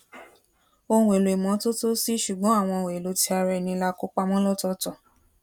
ohun èèlò ìmótótó sí ṣùgbón àwọn ohun èèlò ti ara ẹni la kó pamọ lọtọọtọ